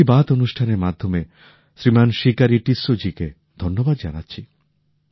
মন কি বাত অনুষ্ঠান এর মাধ্যমে শ্রীমান শিকারি টিসসো জী কে ধন্যবাদ জানাচ্ছি